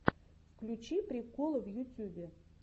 включи приколы в ютюбе